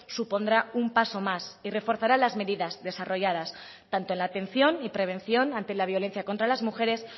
supondrá un paso más y reforzará las medidas desarrolladas tanto en la atención y prevención ante la violencia contra las mujeres